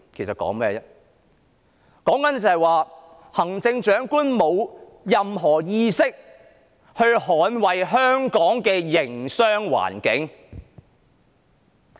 是指行政長官沒有任何意識捍衞香港的營商環境。